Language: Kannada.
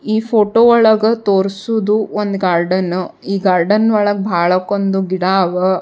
ಈ ಫೋಟೊ ಒಳಗ ತೋರ್ಸುವುದು ಒಂದ್ ಗಾರ್ಡನ್ ಈ ಗಾರ್ಡನ್ ಒಳಗ್ ಬಾಳಕ್ ಒಂದ್ ಗಿಡ ಅವ.